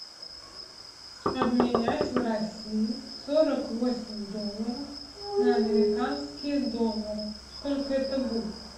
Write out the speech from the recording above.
обменять в россии сорок восемь долларов на американские доллары сколько это будет